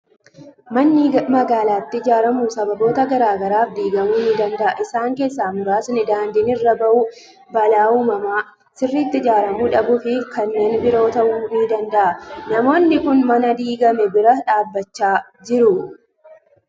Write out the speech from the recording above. Manni magaalaatti ijaaramu sababoota garaa garaaf diigamuu ni danda'a. Isaan keessaa muraasni: daandiin irra bahuu, balaa uumamaa, sirriitti ijaaramuu dadhabuu fi kanneen biroo ta'uu ni danda'a. Namoonni kun mana diigame bira dhaabachaa jiru.